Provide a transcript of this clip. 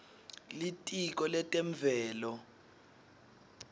litiko letemvelo